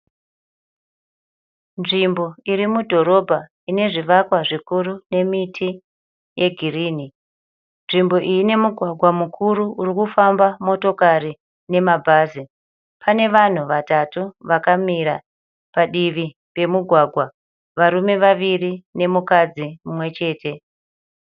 Nzvimbo iri mudhorobha ine zvivakwa zvikuru nemiti yegirini nzvimbo iyi ine mugwagwa mukuru uri kufamba motokari nemabhazi pane vanhu vatatu vakamira padivi remugwagwa varume vaviri nemukadzi mumwechete.